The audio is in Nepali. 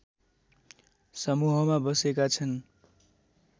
समूहमा बसेका छन्